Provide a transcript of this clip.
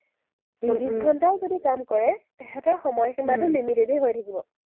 চৌবিশ ঘণ্টাও যদি কাম কৰে, তাহাঁতৰ সময়সীমাটো হৈ থাকিব।